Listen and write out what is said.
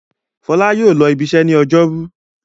Fọlá yóò lọ ibiṣẹ́ ní ọjọ́rú!